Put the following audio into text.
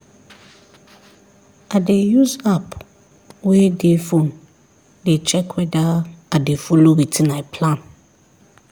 i dey use app wey dey phone dey check weda i dey follow wetin i plan